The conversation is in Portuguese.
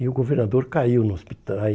e o governador caiu no hospital.